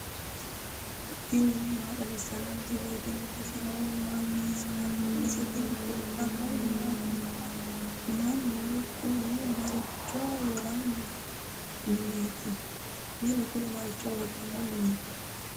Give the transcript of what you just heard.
tini maa xawissanno misileeti ? mulese noori maati ? hiissinannite ise ? tini kultannori mattiya? Minnu kunni maricho woranni mineetti?